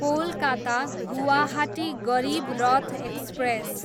Kolkata, Guwahati Garib Rath express